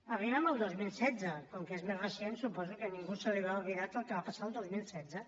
arribem al dos mil setze com que és més recent suposo que a ningú se li deu haver oblidat el que va passar el dos mil setze